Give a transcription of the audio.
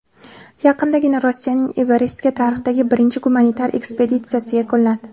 Yaqindagina Rossiyaning Everestga tarixdagi birinchi gumanitar ekspeditsiyasi yakunlandi.